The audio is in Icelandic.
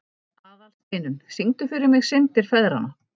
Aðalsteinunn, syngdu fyrir mig „Syndir feðranna“.